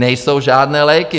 Nejsou žádné léky.